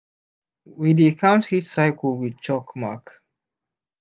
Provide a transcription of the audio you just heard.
we dey count heat cylce with chalk mark